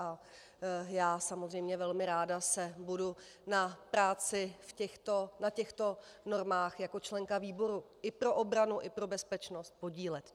A já samozřejmě velmi ráda se budu na práci na těchto normách jako členka výboru i pro obranu i pro bezpečnost podílet.